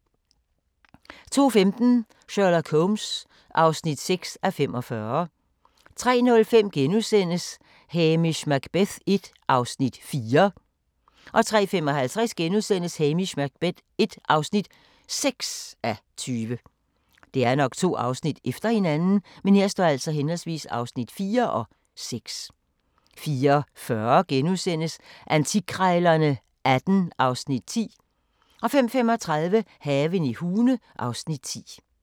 02:15: Sherlock Holmes (6:45) 03:05: Hamish Macbeth l (4:20)* 03:55: Hamish Macbeth l (6:20)* 04:40: Antikkrejlerne XVIII (Afs. 10)* 05:35: Haven i Hune (Afs. 10)